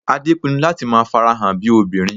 Adé pinnu láti máa farahàn bíi obìnrin